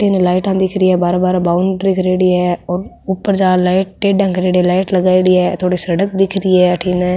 इनने लाइटाँ दिख री है बार बार बॉउंड्री करेडी है और ऊपर जार लाइट लगायेडी है थोड़ी सड़क दिख रही है अठन --